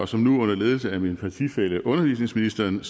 som nu under ledelse af min partifælle undervisningsministeren